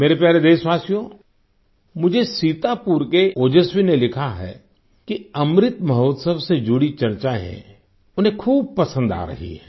मेरे प्यारे देशवासियो मुझे सीतापुर के ओजस्वी ने लिखा है कि अमृत महोत्सव से जुड़ी चर्चाएँ उन्हें खूब पसंद आ रही हैं